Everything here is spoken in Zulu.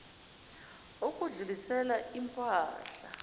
ukudlulisela im pahla